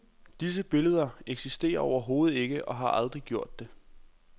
Disse billeder eksisterer overhovedet ikke og har aldrig gjort det.